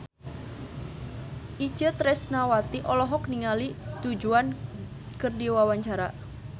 Itje Tresnawati olohok ningali Du Juan keur diwawancara